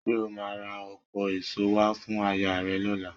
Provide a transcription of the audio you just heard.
Ṣé o máa ra ọ̀pọ̀ èso wá fún ayaà rẹ lọ́la?